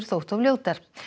þóttu of ljótar